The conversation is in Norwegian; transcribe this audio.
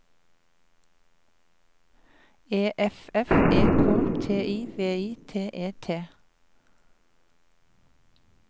E F F E K T I V I T E T